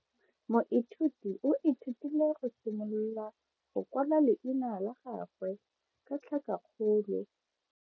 Moithuti o ithutile go simolola go kwala leina la gagwe ka tlhakakgolo.